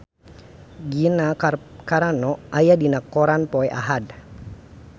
Gina Carano aya dina koran poe Ahad